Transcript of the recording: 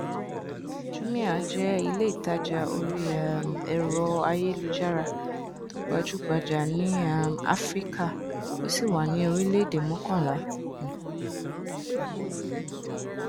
jumia jẹ iléìtajà orí um ẹrọayélujára tó gbajúgbajà ní um áfíríkà ó sì wà ní orílẹèdè mọkànlá um